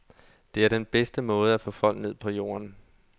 Det er den bedste måde at få folk ned på jorden.